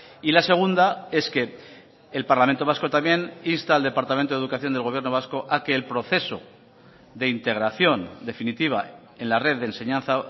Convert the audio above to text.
y la segunda es que el parlamento vasco también insta al departamento de educación del gobierno vasco a que el proceso de integración definitiva en la red de enseñanza